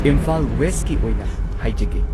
ꯏꯝꯐꯥꯜ ꯋꯦꯁꯀꯤ ꯑꯣꯏꯅ ꯍꯥꯏꯖꯒꯦ꯫